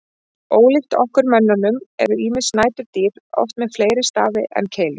Ólíkt okkur mönnunum eru ýmis næturdýr oft með fleiri stafi en keilur.